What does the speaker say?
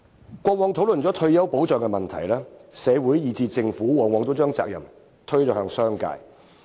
以往在討論退休保障問題時，社會以至政府往往把責任推向商界。